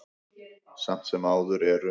Samt sem áður eru